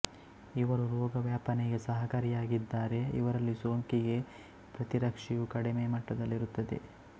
ಇವರು ರೋಗವ್ಯಾಪನೆಗೆ ಸಹಕಾರಿಯಾಗಿದ್ದಾರೆ ಇವರಲ್ಲಿ ಸೋಂಕಿಗೆ ಪ್ರತಿರಕ್ಷೆಯು ಕಡಿಮೆ ಮಟ್ಟದಲ್ಲಿರುತ್ತದೆ